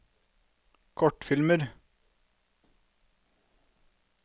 kortfilmer